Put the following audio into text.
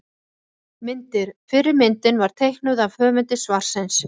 Myndir: Fyrri myndin var teiknuð af höfundi svarsins.